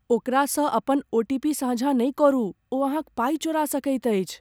ओकरासँ अपन ओटीपी साझा नहि करू। ओ अहाँक पाई चोरा सकैत अछि।